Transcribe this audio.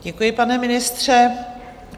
Děkuji, pane ministře.